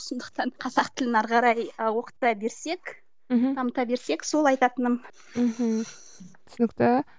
сондықтан қазақ тілін әрі қарай ы оқыта берсек мхм дамыта берсек сол айтатыным мхм түсінікті